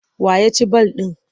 Wa ya ci ball ɗin?